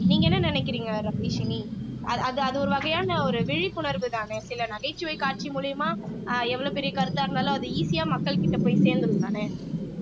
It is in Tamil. நீங்க என்ன நினைக்கிறீங்க ரபிஷினி அது அது ஒரு வகையான ஒரு விழிப்புணர்வுதானே சில நகைச்சுவை காட்சி மூலியமா அஹ் எவ்வளவு பெரிய கருத்தா இருந்தாலும் அது easy ஆ மக்கள்கிட்ட போய் சேர்ந்திடும்தானே